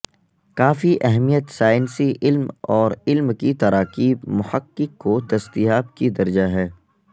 کافی اہمیت سائنسی علم اور علم کی تراکیب محقق کو دستیاب کی درجہ ہے